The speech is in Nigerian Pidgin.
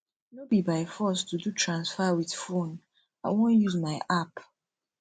no be by force to do transfer with phone i wan use my app